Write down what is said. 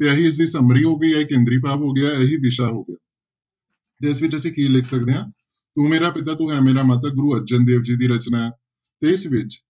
ਤੇ ਇਹੀ ਇਸਦੀ summary ਹੋ ਗਈ, ਇਹ ਕੇਂਦਰੀ ਭਾਵ ਹੋ ਗਿਆ ਇਹੀ ਵਿਸ਼ਾ ਹੋ ਗਿਆ ਤੇ ਇਸ ਵਿੱਚ ਅਸੀਂ ਕੀ ਲਿਖ ਸਕਦੇ ਹਾਂ ਤੂੰ ਮੇਰਾ ਪਿਤਾ ਤੂੰ ਹੈ ਮੇਰਾ ਮਾਤਾ ਗੁਰੂ ਅਰਜਨ ਦੇਵ ਜੀ ਦੀ ਰਚਨਾ ਹੈ, ਇਸ ਵਿੱਚ